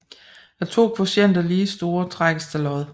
Er to kvotienter lige store trækkes der lod